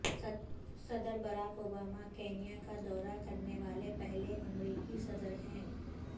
صدر Barack Obama Kenya کا دورہ کرنے والے پہلے امریکی صدر ہیں